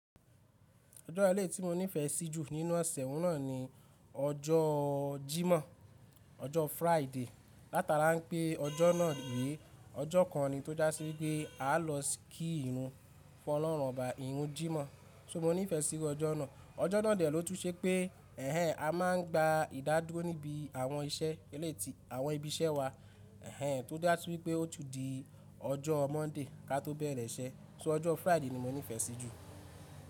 Ọjọ́ eléyi tí mo nífẹ̀ sí jù nínú ọ̀sẹ̀ ohun náà ni ọjọ́ Jímọ̀, ọjọ́ Friday. Láta la ńpè ọjọ́ náà rí, ọjọ́ kan ni tó já sí pé a lọ kí Irun Fọlọrunrọba, Irun Jímọ̀. So mo nífẹ̀ sí ọjọ́ náà. Ọjọ́ náà dẹ̀ lótùn ṣe pé ẹnẹn a máa ń gba ìdádúró níbi àwọn iṣẹ́ eléyi tí àwọn ibiṣẹ́ wa ẹnẹn tó jásí wípé ó tún di ọjọ́ Monday kí a tó bẹ̀rẹ̀ iṣẹ́ so ọjọ́ Friday ni mo nífẹ̀ sí jù.